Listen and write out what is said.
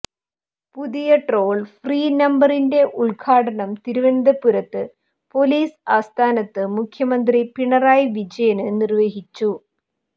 പുതിയ toll free നമ്പരിന്റെ ഉ്ദഘാടനം തിരുവനന്തപുരത്ത് പോലിസ് ആസ്ഥാനത്ത് മുഖ്യമന്ത്രി പിണറായി വിജയന് നിര്വഹിച്ചു